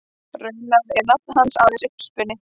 Raunar er nafn hans aðeins uppspuni.